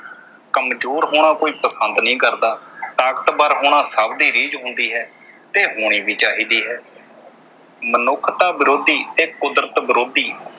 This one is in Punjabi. ਕਮਜ਼ੋਰ ਹੋਣਾ ਕੋਈ ਪਸੰਦ ਨਹੀਂ ਕਰਦਾ। ਤਾਕਤਵਰ ਹੋਣਾ ਸਭ ਦੀ ਰੀਝ ਹੁੰਦੀ ਹੈ ਤੇ ਹੋਣੀ ਵੀ ਚਾਹੀਦੀ ਹੈ। ਮਨੁੱਖਤਾ ਵਿਰੋਧੀ ਤੇ ਕੁਦਰਤ ਵਿਰੋਧੀ